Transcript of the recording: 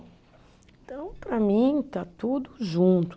Então, para mim, está tudo junto.